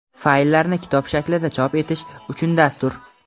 Fayllarni kitob shaklida chop etish uchun dastur.